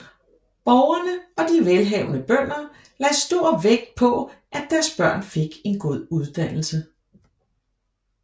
Borgerne og de velhavende bønder lagde stor vægt på at deres børn fik en god uddannelse